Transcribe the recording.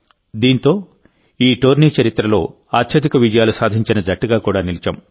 దీంతో ఈ టోర్నీ చరిత్రలో అత్యధిక విజయాలు సాధించిన జట్టుగా కూడా నిలిచాం